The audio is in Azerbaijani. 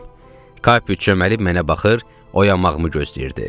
Kapi çöməlib mənə baxır, oyanmağımı gözləyirdi.